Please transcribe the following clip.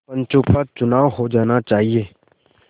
पंचों का चुनाव हो जाना चाहिए